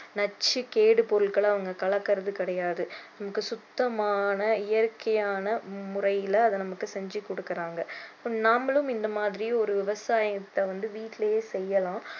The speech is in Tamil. நச்சு கேடு பொருட்களை அவங்க கலக்குறது கிடையாது நமக்கு சுத்தமான இயற்கையான முறையில அதை நமக்கு செஞ்சு கொடுக்கிறாங்க நாமளும் இந்த மாதிரி ஒரு விவசாயத்தைை வந்து வீட்டிலயே செய்யலாம்